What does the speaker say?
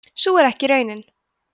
sú er ekki raunin